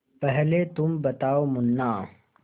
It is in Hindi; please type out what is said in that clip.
पहले तुम बताओ मुन्ना